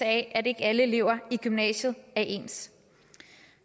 af at ikke alle elever i gymnasiet er ens